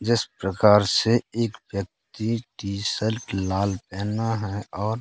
जिस प्रकार से एक व्यक्ति टी-शर्ट लाल पेहना है और--